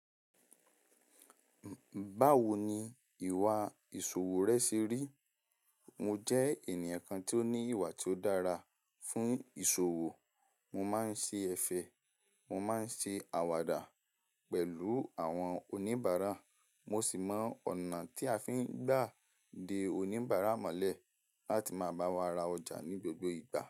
Báwo ni ìwà ìṣòwò rẹ ṣe rí? Mo jẹ́ ènìyàn kan tí ó ní ìwà tí ó dára fún ìṣòwò. Mo máa ń ṣe ẹ̀fẹ̀, mo máa ń ṣe àwàdà pẹ̀lú àwọn oníbàárà, mo sì mọ ọ̀nà tí a fi ń gbà de oníbàárà mọ́lẹ̀ láti máa bá wa ra ọjà ní gbogbo ìgbà.